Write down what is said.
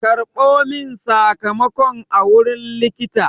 Karɓo min sakamakon a wurin likita!